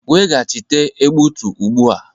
Weghachite egbutu ugbu a.